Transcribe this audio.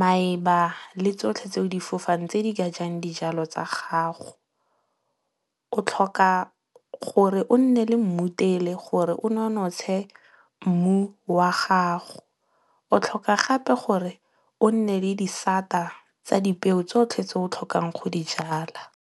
maeba le tsotlhe tseo difofang tse di ka jang dijalo tsa gago. O tlhoka gore o nne le mmutele gore o nonotshe mmu wa gago. O tlhoka gape gore o nne le disata tsa dipeo tsotlhe tse o tlhokang go di jala.